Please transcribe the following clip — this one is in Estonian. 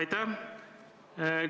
Aitäh!